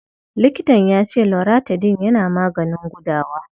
Likitan ya ce Loratadin yana maganin gudawa.